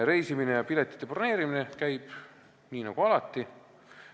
Reisimine ja piletite broneerimine käib nii nagu alati.